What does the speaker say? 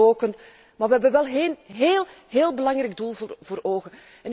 Veel mensen roken. Maar we hebben wel een heel, heel belangrijk doel voor ogen.